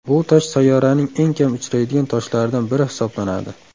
Bu tosh sayyoraning eng kam uchraydigan toshlaridan biri hisoblanadi.